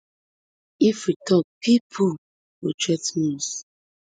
if we tok pipo go threa ten us